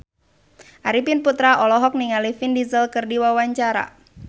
Arifin Putra olohok ningali Vin Diesel keur diwawancara